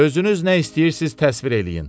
Özünüz nə istəyirsiz təsvir eləyin.